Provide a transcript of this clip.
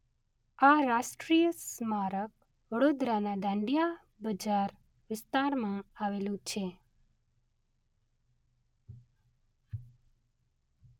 આ રાષ્ટ્રીય સ્મારક વડોદરાના દાંડિયા બજાર વિસ્તારમાં આવેલું છે.